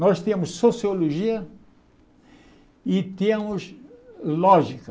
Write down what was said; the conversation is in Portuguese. Nós tínhamos sociologia e tínhamos lógica.